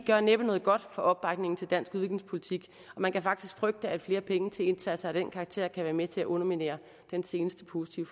gør næppe noget godt for opbakningen til dansk udviklingspolitik og man kan faktisk frygte at flere penge til indsatser af den karakter kan være med til at underminere den seneste positive